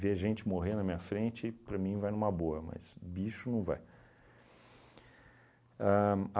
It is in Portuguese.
Ver gente morrer na minha frente, para mim, vai numa boa, mas bicho não vai. Ahn